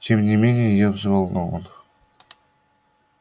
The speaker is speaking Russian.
тем не менее я взволнован